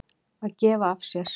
Að gefa af sér.